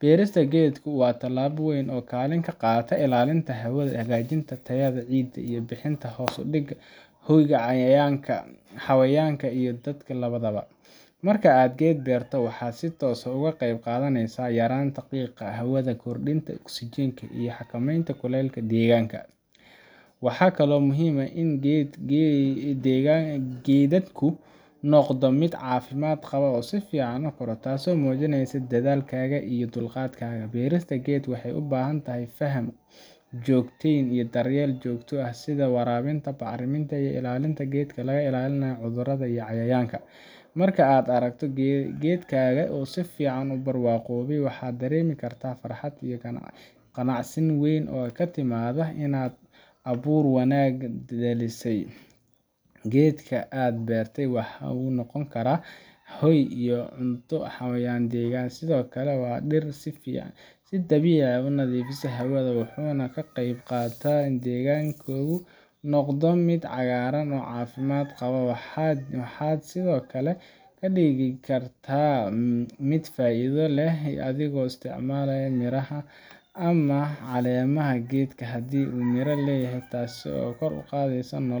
Beerista geedku waa talaabo weyn oo kaalin ka qaadata ilaalinta hawada, hagaajinta tayada ciidda, iyo bixinta hoos iyo hoy xayawaanka iyo dadka labadaba. Marka aad geed beerto, waxaad si toos ah uga qayb qaadanaysaa yaraynta qiiqa hawada, kordhinta oksijiinta, iyo xakameynta kulaylka deegaanka. Waxaa kaloo muhiim ah in geedkaagu noqdo mid caafimaad qaba oo si fiican u koro—taas oo muujineysa dadaalkaaga iyo dulqaadkaaga. Beerista geed waxay u baahan tahay faham, joogteyn, iyo daryeel joogto ah, sida waraabinta, bacriminta, iyo ilaalinta geedka laga ilaaliyo cudurrada iyo cayayaanka. Marka aad aragto geedkaaga oo si fiican u barwaaqoobay, waxaad dareemi kartaa farxad iyo qanacsanaan weyn oo ka timaadda inaad abuur wanaagsan dhalisay. Geedka aad beertay waxa uu noqon karaa hoy iyo cunto xayawaanka deegaanka, sidoo kale waa dhir si dabiici ah u nadiifisa hawada, wuxuuna ka qayb qaataa in deegaankaagu noqdo mid cagaaran oo caafimaad qaba. Waxaad sidoo kale ka dhigi kartaa mid faa’iido leh adigoo isticmaala miraha ama caleemaha geedka, haddii uu miro leeyahay, taasoo kor u qaadaysa